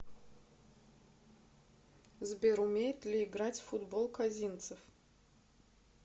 сбер умеет ли играть в футбол козинцев